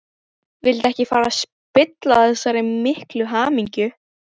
Vildi ekki fara að spilla þessari miklu hamingju.